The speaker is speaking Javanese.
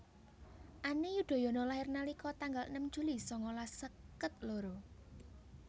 Ani Yudhoyono lahir nalika tanggal enem Juli sangalas seket loro